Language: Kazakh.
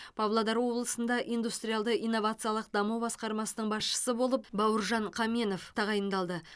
павлодар облысында индустриалды инновациялық даму басқармасының басшысы болып бауыржан қаменов тағайындалды